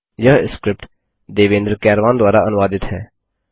यह स्क्रिप्ट देवेन्द्र कैरवान द्वारा अनुवादित है